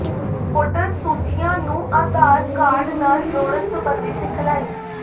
voter ਸੂਚੀਆਂ ਨੂੰ Aadhaar card ਨਾਲ ਜੋੜਨ ਸਬੰਧੀ ਸਿਖਲਾਈ